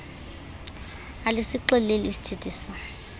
alisixeleli iisithethi se